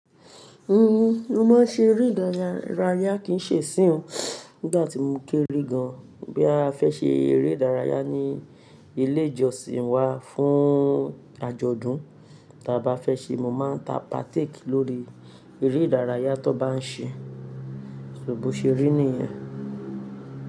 Hmm, mo máa ń ṣe eré ìdárayá kìí ṣe nsín oo. Nígbà tí mo kéré gan, bí a fẹ́ ṣe eré ìdárayá ní ilé ìjọsìn wa fún àjọ̀dún, tí a bá fẹ́ ṣe, mo máa ń ta partake lórí eré ìdárayá tó bá ń ṣe. Ṣò bò ṣe rí nìyẹn.